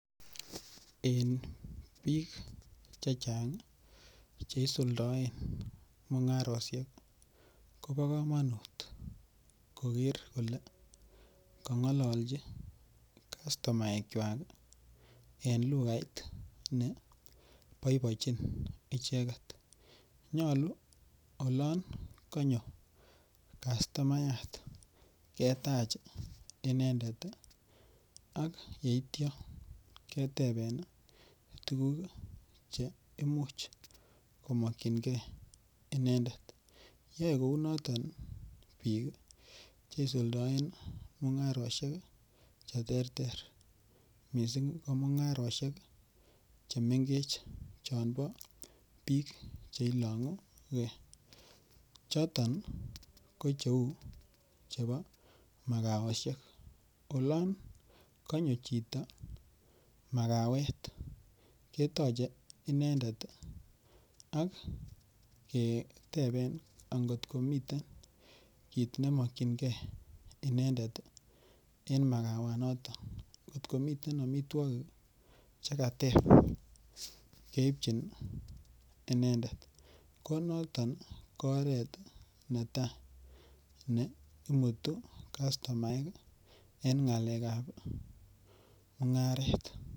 En bik chechang cheisuldoen mungaroshek kobokomonut koker kole kongololchi kastumaekwak en lukait neboibojin icheket nyolu olon konyo kastumayat ketach inendet, ak yeitio keteben tuguk cheimuch komokchingee inendet yoe kounoton bik cheisuldoen mungaroshek cheterter missing' komungaroshek chon mengech chebo bik chon ilongu kee, choton kocheu chebo makaoshek olon konyo chito makawet ketoche inendet ak keteben angot komiten kit nemokyingee inendet en makawenoton ngot komiten omitwogik chekateb keibjin inendet konoton kooret netaa neimutu kastumaek en ngalekab mungaret.